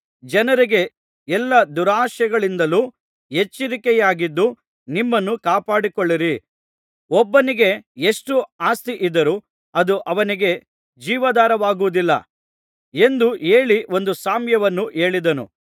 ಜನರಿಗೆ ಎಲ್ಲಾ ದುರಾಶೆಗಳಿಂದಲು ಎಚ್ಚರಿಕೆಯಾಗಿದ್ದು ನಿಮ್ಮನ್ನು ಕಾಪಾಡಿಕೊಳ್ಳಿರಿ ಒಬ್ಬನಿಗೆ ಎಷ್ಟು ಆಸ್ತಿಯಿದ್ದರೂ ಅದು ಅವನಿಗೆ ಜೀವಾಧಾರವಾಗುವುದಿಲ್ಲ ಎಂದು ಹೇಳಿ ಒಂದು ಸಾಮ್ಯವನ್ನು ಹೇಳಿದನು